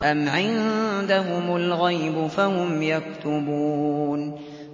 أَمْ عِندَهُمُ الْغَيْبُ فَهُمْ يَكْتُبُونَ